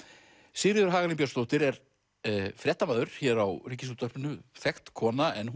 Sigríður Hagalín Björnsdóttir er fréttamaður hér á Ríkisútvarpinu þekkt kona en